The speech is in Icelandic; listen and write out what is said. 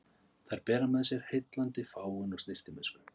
Þær bera með sér heillandi fágun og snyrtimennsku.